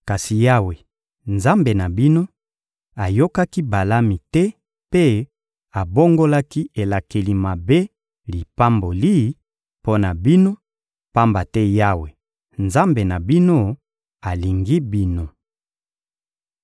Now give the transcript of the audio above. Kasi Yawe, Nzambe na bino, ayokaki Balami te mpe abongolaki elakeli mabe lipamboli mpo na bino, pamba te Yawe, Nzambe na bino, alingi bino.